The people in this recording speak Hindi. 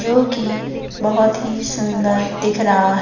जो कि बहुत ही सुंदर दिख रहा--